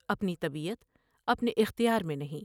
اپنی طبیعت اپنے اختیار میں نہیں ۔